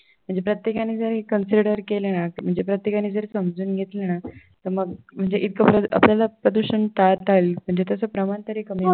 म्हणजे प्रत्येकाने जर हे consider केलं ना म्हणजे प्रत्येकाने जर समजून घेतलं ना तर मग म्हणजे आपल्याला प्रदूषण टाळता येईल म्हणजे त्याच प्रमाण तरी कमी होईल